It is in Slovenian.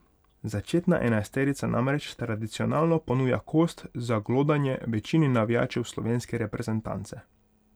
Začetna enajsterica namreč tradicionalno ponuja kost za glodanje večini navijačev slovenske reprezentance.